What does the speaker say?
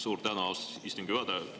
Suur tänu, austatud istungi juhataja!